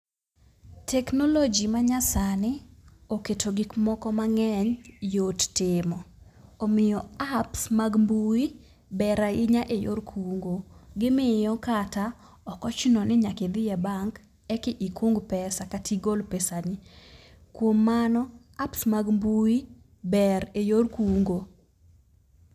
Teknologi manyasani oketo gik moko mang'eny yot timo. Omiyo apps mag mbui ber ahinya e yor kungo. Gimiyo kata ok ochuno ni nyaka idhiye bank e ekung pesa kata igol pesani. Kuom mano, apps mag mbui ber e yor kungo.